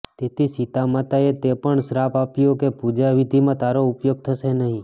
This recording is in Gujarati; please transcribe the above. તેથી સીતા માતાએ તેને પણ શ્રાપ આપ્યો કે પૂજા વિધિમાં તારો ઉપયોગ થશે નહિ